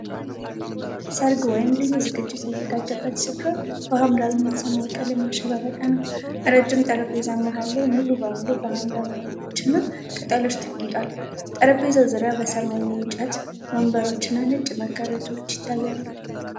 ሠርግ ወይም ልዩ ዝግጅት የተዘጋጀበት ስፍራ በሐምራዊና ሰማያዊ ቀለም ያሸበረቀ ነው። ረጅም ጠረጴዛ መሐል ላይ ሙሉ በሙሉ በሐምራዊ አበቦችና ቅጠሎች ተጌጧል። ጠረጴዛው ዙሪያ የሰማያዊ እንጨት ወንበሮችና ነጭ መጋረጃዎች ይታያሉ።